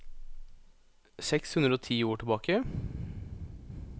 Seks hundre og ti ord tilbake